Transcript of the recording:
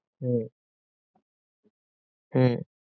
হম হম